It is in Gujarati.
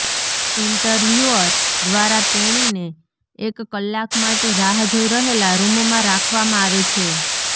ઇન્ટરવ્યુઅર દ્વારા તેણીને એક કલાક માટે રાહ જોઈ રહેલા રૂમમાં રાખવામાં આવે છે